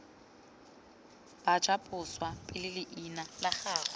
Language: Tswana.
bajaboswa pele leina la gagwe